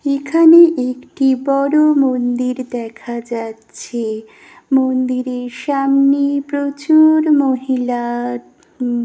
এখানে একটি বড় মন্দির দেখা যাচ্ছে- মন্দিরের সামনে প্রচু-র- মহি-লা--